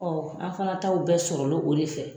Ɔ an fana taaw bɛɛ sɔrɔ l'o o de fɛ.